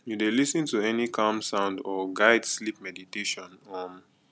you dey lis ten to any calm sound or guide sleep meditation um